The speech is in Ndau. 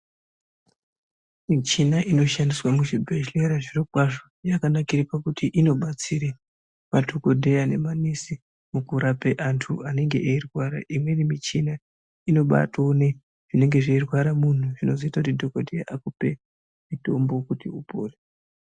Michina inoshandiswa muzvibhedhlera zviro kwazvo zvinooneka pakuti inobatsira madhokodheya memanesi mukurapa vantu vanenge veirwara imweni michina inobatoone zvinenge zveirwaa muntu zvinozoita dhokodheya akupe mitombo akupora.